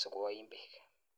simeiim piik keeenye